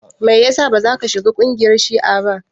Me yasa bazaka shiga kungiyar shi'a ba?